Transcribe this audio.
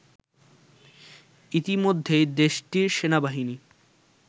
ইতিমধ্যেই দেশটির সেনাবাহিনী